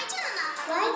Ay canım.